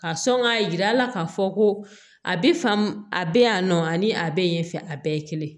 Ka sɔn k'a jira k'a fɔ ko a bɛ faamu a bɛ yan nɔ ani a bɛ yen fɛ a bɛɛ ye kelen